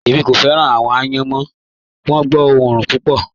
Ẹ̀mí kò fẹ́ran awọn àyán, wọ́n gbọ́ ọ̀orun púpọ̀.